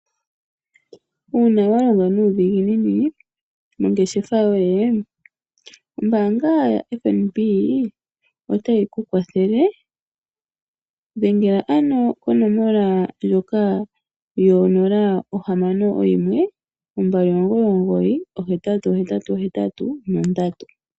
Uuna wa longa nuudhiginini mongeshefa yoye ombaanga ya FNB otayi ku kwathele. Dhengela ano komonola yawo ndjoka yo 061 2999 8883.